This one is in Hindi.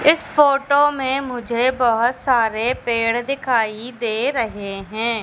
इस फोटो में मुझे बहोत सारे पेड़ दिखाई दे रहे हैं।